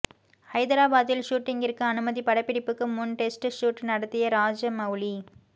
ஐதராபாத்தில் ஷூட்டிங்கிற்கு அனுமதி படப்பிடிப்புக்கு முன் டெஸ்ட் ஷூட் நடத்திய ராஜமவுலி